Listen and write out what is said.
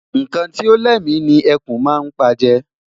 Nnkan Ti o lémi ni ẹkùn má n pa je